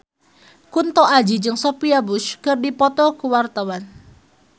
Kunto Aji jeung Sophia Bush keur dipoto ku wartawan